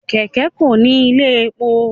Kẹkẹ Ko ní ilé èpò